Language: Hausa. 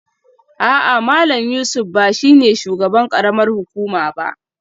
A'a Malam Yusuf ba shi ne shugaban karamar hukuma ba